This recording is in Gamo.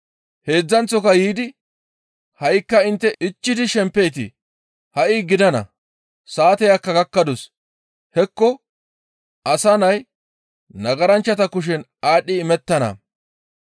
Heedzdzanththo yiidi, «Ha7ikka intte ichchidi shempeetii? Ha7i gidana; saateyakka gakkadus; hekko Asa Nay nagaranchchata kushen aadhdhi imettana.